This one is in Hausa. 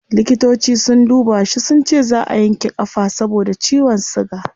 Likitoci sun duba shi sunce zaa a yanke kafa saboda ciwon suga